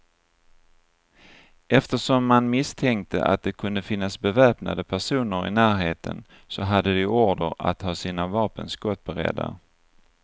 Eftersom man misstänkte att det kunde finnas beväpnade personer i närheten, så hade de order att ha sina vapen skottberedda.